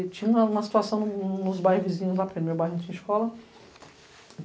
E tinha uma situação nos bairros vizinhos lá perto, meu bairro não tinha escola.